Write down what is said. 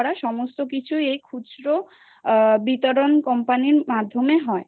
সমস্ত কিছু এই আ খুচরো বিতরণ company মাধ্যমে হয়